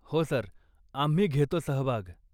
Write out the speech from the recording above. हो, सर, आम्ही घेतो सहभाग.